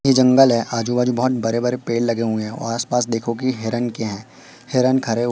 ये जंगल है आजू बाजू बहोत बरे बरे पेड़ लगे हुए हैं और आस पास देखो कि हिरन के है हिरन खरे --